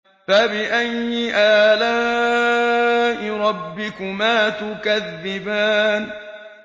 فَبِأَيِّ آلَاءِ رَبِّكُمَا تُكَذِّبَانِ